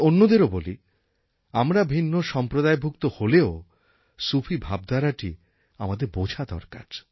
আমি অন্যদেরও বলি আমরা ভিন্ন সম্প্রদায়ভুক্ত হলেও সুফি ভাবধারাটি আমাদের বোঝা দরকার